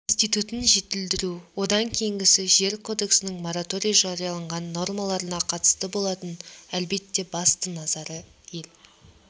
институтын жетілдіру одан кейінгісі жер кодексінің мораторий жарияланған нормаларына қатысты болатын әлбетте басты назар ел